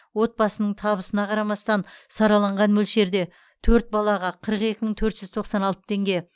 отбасының табысына қарамастан сараланған мөлшерде төрт балаға қырық екі мың төрт жүз тоқсан алты теңге